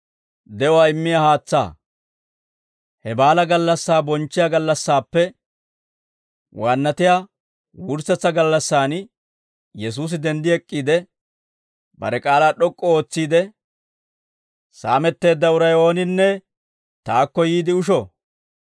He baalaa gallassaa bonchchiyaa gallassaappe waannatiyaa wurssetsa gallassaan Yesuusi denddi ek'k'iide, bare k'aalaa d'ok'k'u ootsiide, «Saametteedda uray ooninne taakko yiide usho.